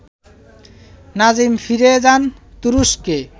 নাজিম ফিরে যান তুরস্কে